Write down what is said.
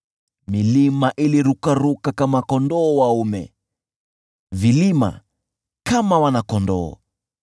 milima ilirukaruka kama kondoo dume, vilima kama wana-kondoo.